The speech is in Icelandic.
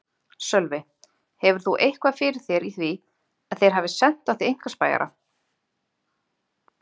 Sölvi: Hefur þú eitthvað fyrir þér í því að þeir hafi sent á þig einkaspæjara?